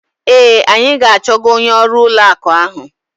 Ee, anyị ga-achọga onye ọrụ ụlọ akụ ahụ.